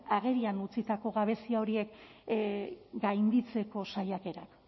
agerian utzitako gabezia horiek gainditzeko saiakerak